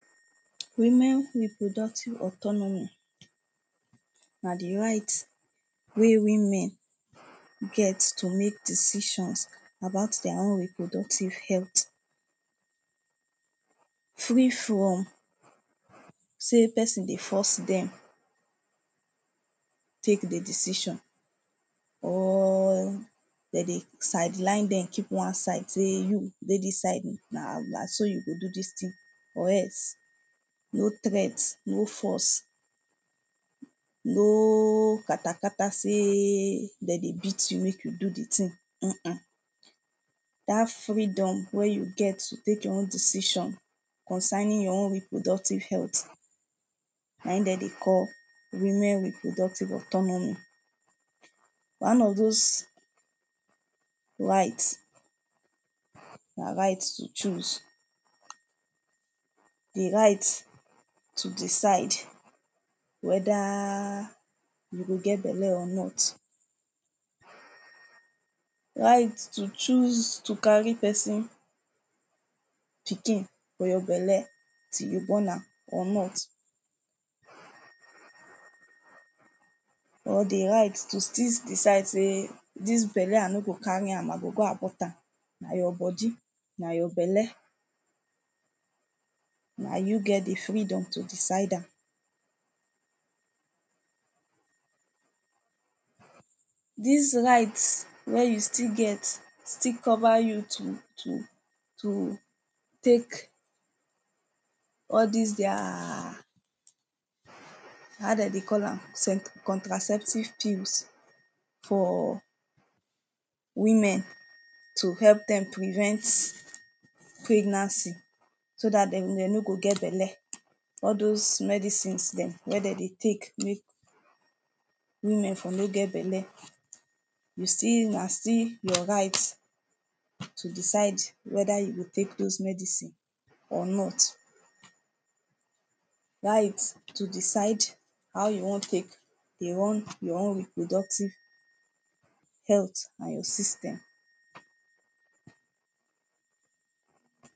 Women reproductive autonomy na the right wey women get to make decisions about their own reproductive health. Free from sey person dey force dem take the decision or dem dey sideline dem keep one side say you dey dis side oh. Na na so you go do dis thing or else. No threat no force. No katakata say dem dey beat you make you do the thing um. Dat freedom wey you get to take your own decision concerning your own reproductive health na im dem dey call women reproductive autonomy. One of dos rights na right to choose. The right to decide whether you go get belle or not. Right to choose to carry person pikin for your belle till you born am or not. Or the right to still decide say dis belle i no go carry am. I go go abort am. Na your body, na your belle. Na you get the freedom to decide am. Dis right wey you still get still cover you to to to take all dis their um how dem dey call am contraceptive pills for women. To help dem prevent pregnancy. So dat dem no go get belle. All dos medicines dem wey dem dey take make women for no get belle. You still na still your right to decide whether you go take dos medicine or not. Right to decide how you wan take dey run your own reproductive health most system.